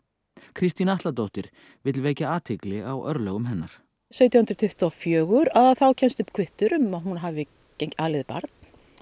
Kristín Atladóttir vill vekja athygli á örlögum hennar sautján hundruð tuttugu og fjögur þá kemst upp kvittur um að hún hafi alið barn